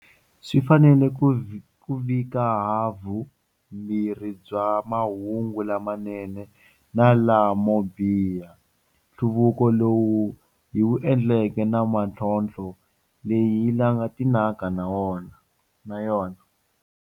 Swi fanele ku vika havumbirhi bya mahungu la manene na lamobiha, nhluvuko lowu hi wu endleke na mitlhontlho leyi hi langutanaka na yona.